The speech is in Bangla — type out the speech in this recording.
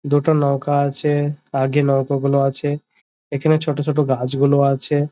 দুটো নৌকা আছে আগে নৌকা গুলো আছে এখানে ছোট ছোট গাছ গুলি আছে।